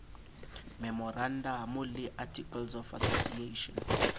memorandamo le articles of association